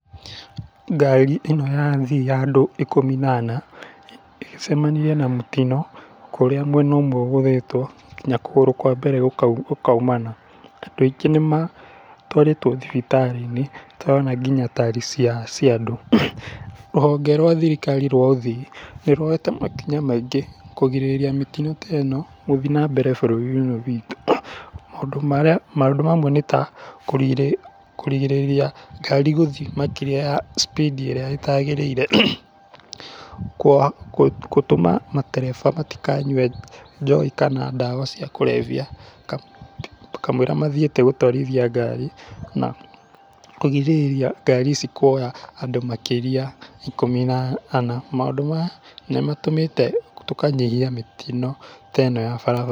Ngari ĩno ya athii ya andũ ikũmi na ana, ĩcemanirie na mũtino kũrĩa mwena ũmwe ũgũthĩtwo nginya kũgũre kwa mbere gũkaimana. Andũ aingĩ nĩ matwarĩtwo thibitarĩ-inĩ, tũrona nginya tari cia andũ. Rũhonge rwa thirikari rwa athii nĩ ruoete makinya maingĩ kũgirĩrĩria mĩtino ta ĩno gũthiĩ na mbere bũrũri-inĩ ũyũ witũ. Maũndũ mamwe nĩ ta kũrigĩrĩria ngari gũthiĩ makĩria ma speed ĩrĩa ĩtaagĩrĩire, gũtũma matereba matikanyue njohi, kana ndawa cia kũrebia kamũira mathiĩte gũtũarithia ngari na kũgĩrĩrĩria ngari ici kuoya andũ makĩrĩa ikũmi na ana. Maũndũ maya nĩ matũmĩte tũkanyihia mĩtino ta ĩno ya bara.